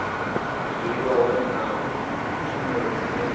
dzuliwa hone na tshumelo dzine